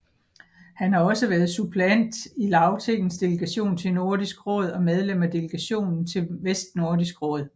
Han har også været suppleant i Lagtingets delegation til Nordisk Råd og medlem af delegationen til Vestnordisk Råd